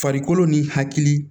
Farikolo ni hakili